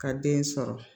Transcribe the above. Ka den sɔrɔ